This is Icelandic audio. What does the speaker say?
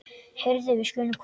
Heyrðu, við skulum koma.